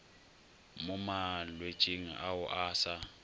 mo malwetšing ao a sa